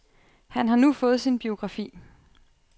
Han har nu fået sin biografi.